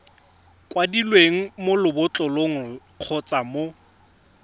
kwadilweng mo lebotlolong kgotsa mo